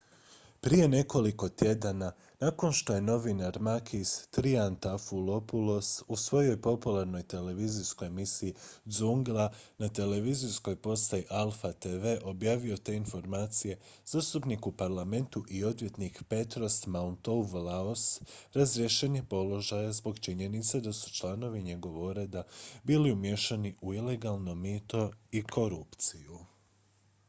"prije nekoliko tjedana nakon što je novinar makis triantafylopoulos u svojoj popularnoj televizijskoj emisiji "zoungla" na televizijskoj postaji alpha tv objavio te informacije zastupnik u parlamentu i odvjetnik petros mantouvalos razriješen je položaja zbog činjenice da su članovi njegova ureda bili umiješani u ilegalno mito i korupciju.